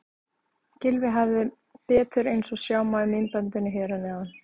Gylfi hafði betur eins og sjá má í myndbandinu hér að neðan.